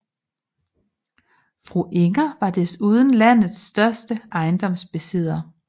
Fru Inger var desuden landets største ejendomsbesidder